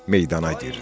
Meydana girdi.